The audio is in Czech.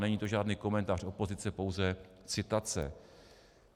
Není to žádný komentář opozice, pouze citace.